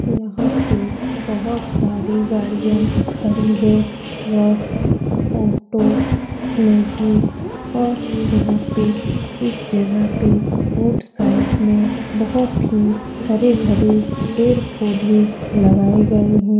यहाँ पे बहुत सारी गाड़ियाँ खड़ी हैं ट्रक ऑटो मैजिक और यहाँ पे इस जगह पे रोड साइड में बहुत ही हरे-भरे पेड़-पौधे लगाये गये हैं।